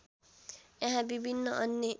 यहाँ विभिन्न अन्य